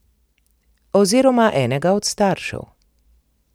Oziroma enega od staršev.